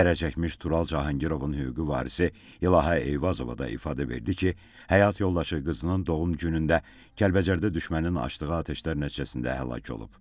Zərərçəkmiş Tural Cahangirovun hüquqi varisi İlahə Eyvazova da ifadə verdi ki, həyat yoldaşı qızının doğum günündə Kəlbəcərdə düşmənin açdığı atəşlər nəticəsində həlak olub.